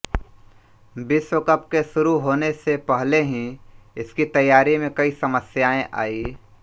विश्व कप के शुरू होने से पहले ही इसकी तैयारी में कई समस्याएं आयीं